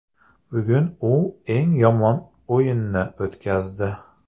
Bugun u eng yomon o‘yinini o‘tkazdi.